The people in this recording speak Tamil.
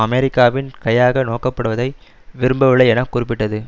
அமெரிக்காவின் கையாக நோக்கப்படுவதை விரும்பவில்லை என குறிப்பட்டது